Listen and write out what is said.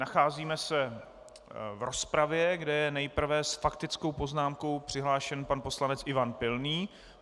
Nacházíme se v rozpravě, kde je nejprve s faktickou poznámkou přihlášen pan poslanec Ivan Pilný.